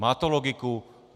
Má to logiku?